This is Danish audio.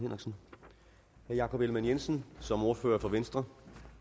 jakob ellemann jensen som ordfører for venstre